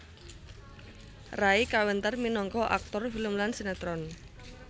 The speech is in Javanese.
Ray kawentar minangka aktor film lan sinétron